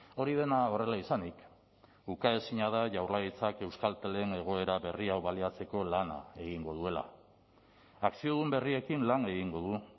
hori dena horrela izanik ukaezina da jaurlaritzak euskaltelen egoera berri hau baliatzeko lana egingo duela akziodun berriekin lan egingo du